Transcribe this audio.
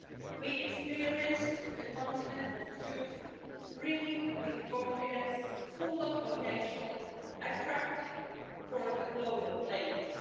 We experienced a continent of youth, brimming with confidence, full of potential and attractive for the global players.